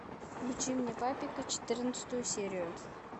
включи мне папика четырнадцатую серию